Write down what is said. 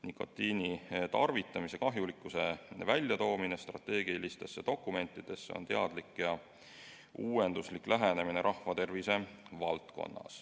Nikotiini tarvitamise kahjulikkuse esiletoomine strateegilistes dokumentides on rahvatervise valdkonnas teadlik ja uuenduslik lähenemine.